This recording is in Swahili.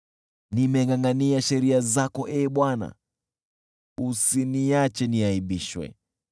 Nimengʼangʼania sheria zako, Ee Bwana , usiniache niaibishwe.